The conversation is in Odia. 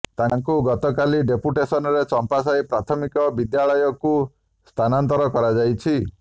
ତାଙ୍କୁ ଗତକାଲି ଡେପୁଟେସନରେ ଚମ୍ପାସାହି ପ୍ରାଥମିକ ବିଦ୍ୟାଳୟକୁ ସ୍ଥାନାନ୍ତର କରାଯାଇଛି